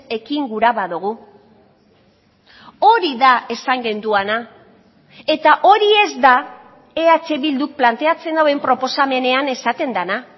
ekin gura badugu hori da esan genuena eta hori ez da eh bilduk planteatzen duen proposamenean esaten dena